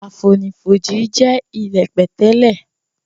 Àfonífojì jẹ ilẹ́ pẹ̀tẹ́lẹ̀.